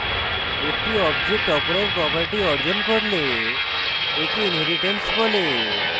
একটি object অপরের property অর্জন করলে একে inheritance বলে